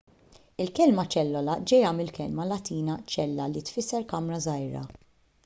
il-kelma ċellola ġejja mill-kelma latina cella li tfisser kamra żgħira